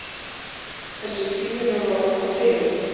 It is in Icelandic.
Þessi frýjunarorð hafi hrifið.